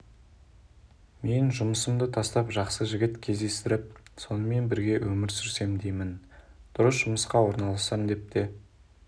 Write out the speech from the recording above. мен жұмысымды тастап жақсы жігіт кездестіріп сонымен бірге өмір сүрсем деймін дұрыс жұмысқа орналассам деп те